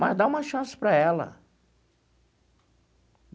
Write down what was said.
Mas dá uma chance para ela.